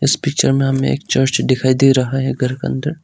Picture में हम एक चर्च दिखाई दे रहा है घर के अंदर।